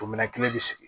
O minɛn kelen bɛ sigi